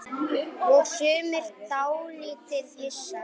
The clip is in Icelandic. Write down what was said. Og sumir dálítið hissa?